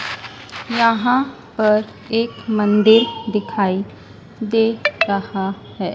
यहां पर एक मंदिर दिखाई दे रहा है।